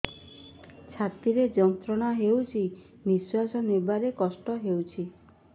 ଛାତି ରେ ଯନ୍ତ୍ରଣା ହେଉଛି ନିଶ୍ଵାସ ନେବାର କଷ୍ଟ ହେଉଛି